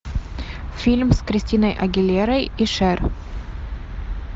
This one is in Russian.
фильм с кристиной агилерой и шер